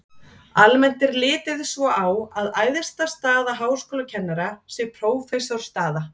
almennt er litið svo á að æðsta staða háskólakennara sé prófessorsstaða